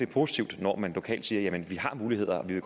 positivt når man lokalt siger jamen vi har muligheder og vi